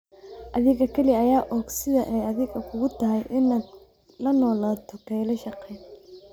Adiga kaliya ayaa og sida ay adiga kugu tahay inaad la noolaato kelyo shaqayn.